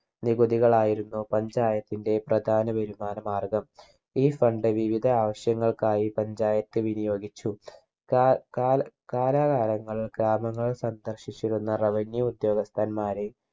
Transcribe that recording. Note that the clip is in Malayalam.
നികുതികളായിരുന്നു panchayat ന്റെ പ്രധാന വരുമാന മാർഗം ഈ Fund വിവിധ ആവശ്യങ്ങൾക്കായി panchayat വിനിയോഗിച്ചു കാ കാല കലാകാലങ്ങൾ ഗ്രാമങ്ങൾ സന്ദർശിച്ചിരുന്ന Revenue ഉദ്യോഗസ്ഥന്മാര്